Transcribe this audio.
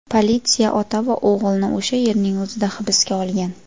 Politsiya ota va o‘g‘ilni o‘sha yerning o‘zida hibsga olgan.